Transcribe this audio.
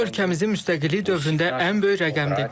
Bu ölkəmizin müstəqillik dövründə ən böyük rəqəmdir.